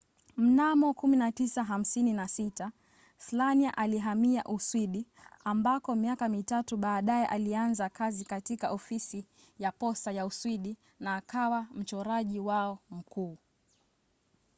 mnamo 1956 slania alihamia uswidi ambako miaka mitatu baadaye alianza kazi katika ofisi ya posta ya uswidi na akawa mchoraji wao mkuu